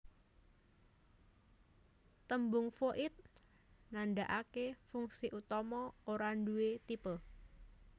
Tembung Void nandhakaké fungsi utama ora duwé tipe